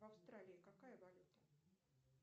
в австралии какая валюта